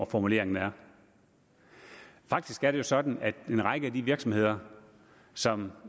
formuleringen er faktisk er det sådan at en række af de virksomheder som